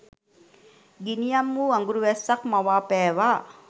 ගිනියම් වූ අඟුරු වැස්සක් මවා පෑවා.